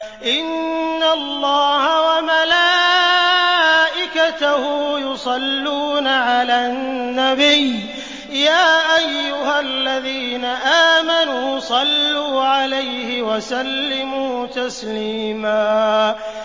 إِنَّ اللَّهَ وَمَلَائِكَتَهُ يُصَلُّونَ عَلَى النَّبِيِّ ۚ يَا أَيُّهَا الَّذِينَ آمَنُوا صَلُّوا عَلَيْهِ وَسَلِّمُوا تَسْلِيمًا